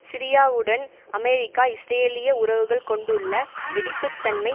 சிரியாவுடன் அமெரிக்க இஸ்ரேலிய உறவுகள் கொண்டுள்ள வெடிப்பு தன்மை